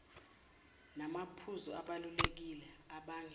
namaphuzu abalulekile abangela